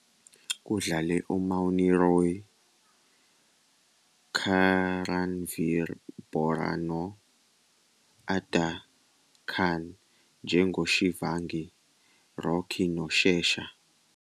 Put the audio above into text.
Kudlale uMouni Roy, Karanvir Bohra no- Adaa Khan njengoShivangi, Rocky noShesha.